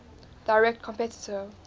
direct competitor